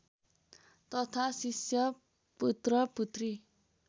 तथा शिष्य पुत्र पुत्री